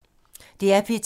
DR P2